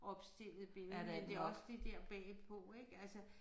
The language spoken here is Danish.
Opstillet billede men det også det der bagpå ik altså